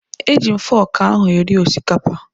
E ji m foku ahụ eri osikapa